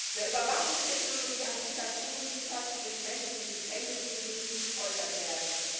Wer Überwachungstechnologie an Diktaturen liefert, bringt Menschen in Gefängnisse, in denen sie gefoltert werden.